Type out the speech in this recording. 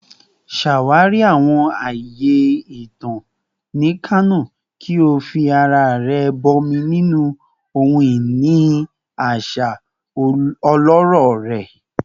Ṣawari awọn aaye itan ni Kano ki o fi ara rẹ bọmi ninu ohun-ini aṣa ọlọrọ rẹ